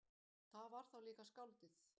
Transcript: Það var þá líka skáldið!